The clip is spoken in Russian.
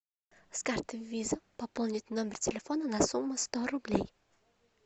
с карты виза пополнить номер телефона на сумму сто рублей